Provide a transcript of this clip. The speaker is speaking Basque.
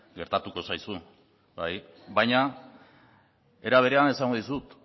gertatuko zaizu bai baina era berean esango dizut